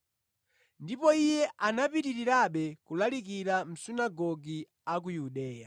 Ndipo Iye anapitirirabe kulalikira mʼmasunagoge a ku Yudeya.